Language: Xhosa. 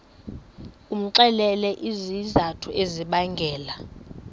umxelele izizathu ezibangela